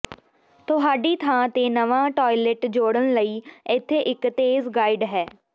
ਤੁਹਾਡੀ ਥਾਂ ਤੇ ਨਵਾਂ ਟਾਇਲਟ ਜੋੜਨ ਲਈ ਇੱਥੇ ਇੱਕ ਤੇਜ਼ ਗਾਈਡ ਹੈ